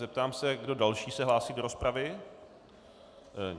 Zeptám se, kdo další se hlásí do rozpravy.